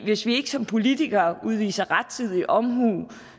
hvis vi ikke som politikere udviser rettidig omhu